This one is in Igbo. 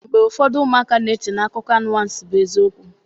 Mgbe ụfọdụ ụmụaka na-eche na akụkọ anwansị bụ eziokwu